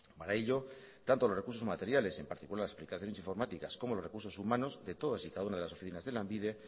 para ello tanto los recursos materiales en particular las aplicaciones informáticas como los recursos humanos de todas y cada una de las oficinas de lanbide